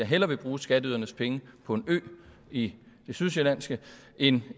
hellere vil bruge skatteydernes penge på en ø i det sydsjællandske end